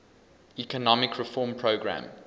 economic reform program